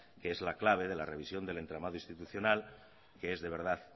que es la clave de la revisión del entramado institucional que es de verdad